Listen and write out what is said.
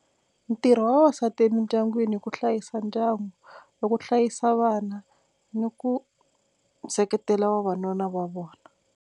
Ntirho wa vavasati emindyangwini i ku hlayisa ndyangu i ku hlayisa vana ni ku seketela vavanuna va vona.